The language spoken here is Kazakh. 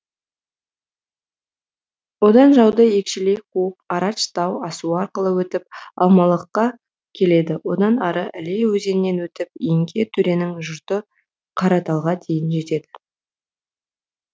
одан жауды екшелей қуып арадж тау асуы арқылы өтіп алмалыққа келеді одан ары іле өзенінен өтіп еңке төренің жұрты қараталға дейін жетеді